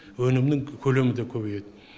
өнімнің көлемі де көбейеді